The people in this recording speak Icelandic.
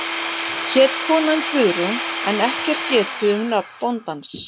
Hét konan Guðrún en ekki er getið um nafn bóndans.